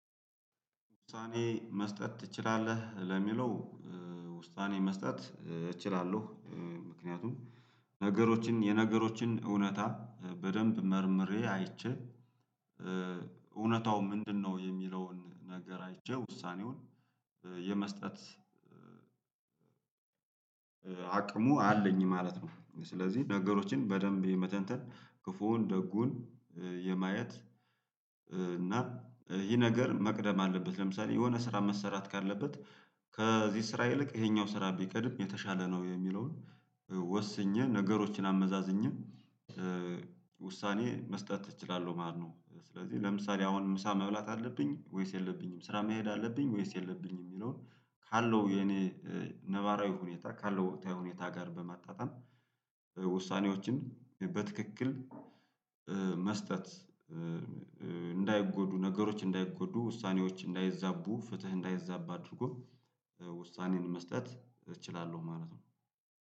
ውሳኔ መስጠት ትችላለህ ለሚለው? ውሳኔ መስጠት እችላለሁ። ምክንያቱም ነገሮችን የነገሮችን እውነታ በደንብ መርምሬ አይቼ እውነታው ምንድነው የሚለውን ነገር አይቼ ውሳኔውን የመስጠት አቅሙ አለኝ ማለት ነው። ስለዚህ ነገሮችን በደንብ የመተንተን ክፉውን ደጉን የማየት እና ይህ ነገር መቅደም አለበት ለምሳሌ የሆነ ስራ መሰራት ካለበት ከዚህ ስራ ይልቅ ይሄኛው ስራ ቢቀድም የተሻለ ነው የሚለውን ወስኜ ነገሮችን አመዛዝኜ ውሳኔ መስጠት እችላለሁ ማለት ነው። ስለዚህ ለምሳሌ አሁን ምሳ መብላት አለብኝ ወይስ የለብኝም? ስራ መሄድ አለብኝ ወይስ የለብኝም? የሚለውን ካለው የኔ ነባራዊ ሁኔታ ካለው ወቅታዊ ሁኔታ ጋር በማጣጣም ውሳኔዎችን በትክክል መስጠት እንዳይጎዱ ነገሮች እንዳይጎዱ ውሳኔዎች እንዳይዛቡ ፍትህ እንዳይዛባ አድርጎ ውሳኔን መስጠት እችላለሁ ማለት ነው።